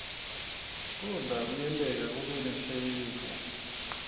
kudla kuyenteka kube nashevu